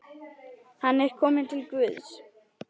Hann er kominn til Guðs.